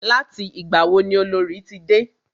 Láti ìgbà wo ni Olorì ti dé?